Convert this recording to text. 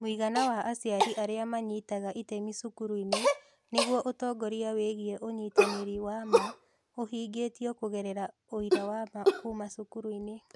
Mũigana wa aciari arĩa manyitaga itemi cukuru-inĩ nĩguo ũtongoria wĩgiĩ ũnyitanĩri wa ma ũhingĩtio kũgerera ũira wa ma kuuma cukuru-inĩ.